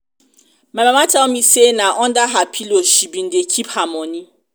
my mama tell me say na under her pillow she bin dey keep her money.